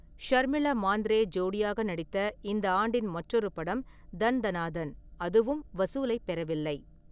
ஷர்மிளா மாந்த்ரே ஜோடியாக நடித்த இந்த ஆண்டின் மற்றொரு படம் தன் தனா தன், அதுவும் வசூலைப் பெறவில்லை.